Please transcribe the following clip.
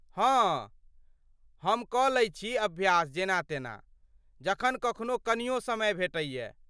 हँऽऽ, हम कऽ लै छी अभ्यास जेना तेना, जखन कखनो कनियो समय भेटैए।